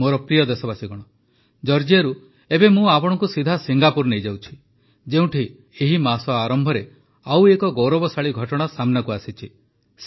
ମୋର ପ୍ରିୟ ଦେଶବାସୀଗଣ ଜର୍ଜିଆରୁ ଏବେ ମୁଁ ଆପଣଙ୍କୁ ସିଧା ସିଙ୍ଗାପୁର ନେଇଯାଉଛି ଯେଉଁଠି ଏହି ମାସ ଆରମ୍ଭରେ ଆଉ ଏକ ଗୌରବଶାଳୀ ଘଟଣା ସାମ୍ନାକୁ ଆସିଛି